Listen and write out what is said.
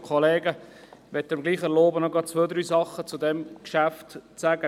Ich möchte mir erlauben, noch ein paar Dinge zu diesem Geschäft zu sagen.